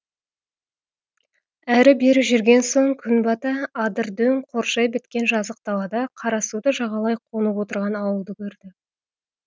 әрі бері жүрген соң күн бата адыр дөң қоршай біткен жазық далада қарасуды жағалай қонып отырған ауылды көрді